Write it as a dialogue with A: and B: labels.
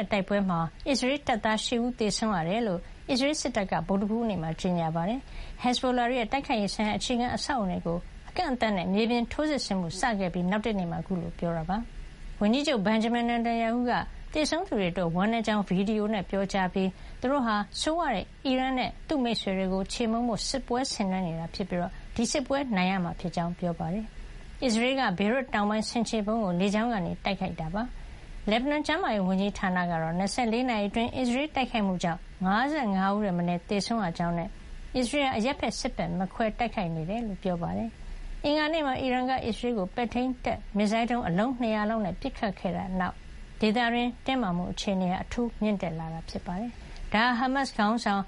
A: ဲ့တိုက်ပွဲမှာ အစ္စရေးတပ်သား ၈ ဦး သေဆုံးခဲ့ရတယ်လို့ အစ္စရေးစစ်တပ်က အောက်တိုဘာ ၂ ရက် ဗုဒ္ဓဟူးနေ့မှာကြေညာပါတယ်။ ဟက်ဇ်ဘိုလာတွေရဲ့ တိုက်ခိုက်ရေးဆိုင်ရာ အခြေခံအဆောက်အအုံတွေကို အကန့်အသတ်နဲ့ မြေပြင်ထိုးစစ်စတင်ခဲ့ပြီး နောက်တနေ့မှာ ခုလို ပြောတာပါ။ ဝန်ကြီးချုပ် Benjamin Netanyahu က သေဆုံးသူတွေအတွက် ဝမ်းနည်းကြောင်း ဗွီဒီယိုနဲ့ ပြောကြားခဲ့ပြီး သူတို့ဟာ ဆိုးဝါးတဲ့အီရန်နဲ့သူ့မိတ်ဆွေတွေကို ချေမှုန်းဖို့ စစ်ပွဲဆင်နွဲနေတာဖြစ်ပြီး ဒီစစ်ပွဲကို သူတို့အောင်နိုင်ရမှာ ဖြစ်ကြောင်းပြောပါတယ်။ အစ္စရေးတပ်တွေက ဟက်ဇ်ဘိုလာတွေ အခိုင်အမာခြေကုပ်ယူထားတဲ့ ဘေရွတ်တောင်ပိုင်း ဆင်ခြေဖုံးဒေသတွေကို ညဘက်မှာ လေကြောင်းကနေ တိုက်ခိုက်ခဲ့တာ ဖြစ်ပါတယ်။ လက်ဘနွန်ကျန်းမာရေးဝန်ကြီးဌာနကတော့ ၂၄ နာရီအတွင်း အစ္စရေးရဲ့ လေကြောင်း တိုက်ခိုက်မှုကြောင့် ၅၅ ဦးထက် မနည်းသေဆုံးပြီး ၁၅၆ ဦး ဒဏ်ရာရခဲ့ကြောင်းနဲ့ အစ္စရေးဟာ အရပ်ဘက်၊ စစ်ဘက် မခွဲခြားဘဲတိုက်ခိုက်နေတယ်လို့ ပြောပါတယ်။ အင်္ဂါနေ့ ညနေပိုင်းမှာ အီရန်က အစ္စရေးကို ပဲ့ထိန်းတပ် မစ်ဇိုင်းဒုံး အလုံး ၂၀၀ လောက်နဲ့ပစ်ခတ်တိုက်ခိုက်ခဲ့ပြီးတဲ့နောက် ဒေသတွင်း တင်းမာမှုအခြေအနေ အထူးမြင့်တက်လာခဲ့တာပါ။ ဒါဟာ ဇူလိုင်လထဲ ဟာမတ်စ်ခေါင်းဆောင်